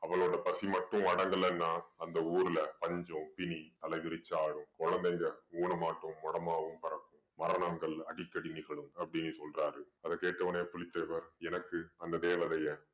அவளோட பசி மட்டும் அடங்கலைன்னா அந்த ஊருல பஞ்சம், பிணி தலை விரிச்சாடும். குழந்தைங்க ஊனமாட்டும் மொடமாவும் பொறக்கும். மரணங்கள் அடிக்கடி நிகழும் அப்படீன்னு சொல்றாரு. அதை கேட்ட உடனே புலித்தேவர் எனக்கு அந்த தேவதைய